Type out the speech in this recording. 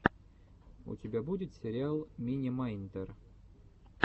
у тебя будет сериал мини майнтер